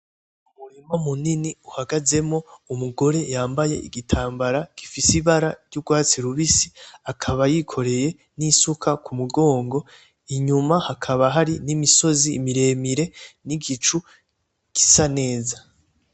Umurima munini uhagazemwo umugore yambaye igitambara gifise ibara ry'ugwatsi rubisi, akaba yikoreye n'isuka kumugongo, inyuma hakaba hari n'imisozi miremire n'igicu gisa neza .